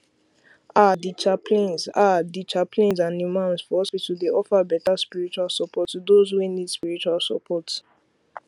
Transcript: ahdi chaplains ahdi chaplains and imams for hospitals dey offer better spiritual support to those wey need spiritual surport